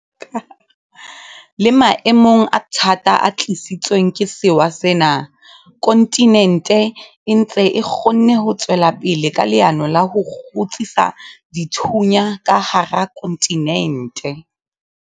Le maemong a thata a tlisitsweng ke sewa sena, kontinente e ntse e kgonne ho tswela pele ka leano la ho 'kgutsisa dithunya' ka hara kontinente.